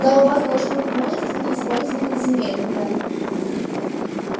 да у вас должно быть множество неиспользованных земель мэр